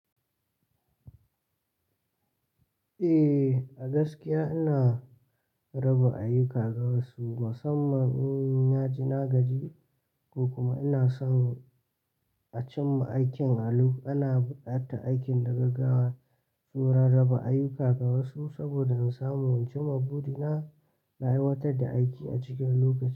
Eh, a gaskiya ina raba ayuka ga wasu musamman in na ji na gaji ko kuma ina son a cimma aikin a lokaci. Ina buƙatar aikin da gaggawa, saina raba ayuka ga wasu saboda in samu in cimma burina na aiwatar da aiki a cikin lokaci.